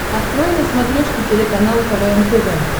открой на смотрешке телеканал квн тв